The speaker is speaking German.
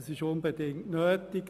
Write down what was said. Es ist unbedingt nötig.